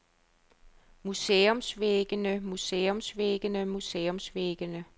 museumsvæggene museumsvæggene museumsvæggene